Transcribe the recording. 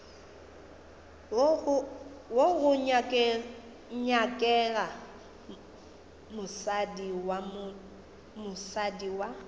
wo go nyakega mosadi wa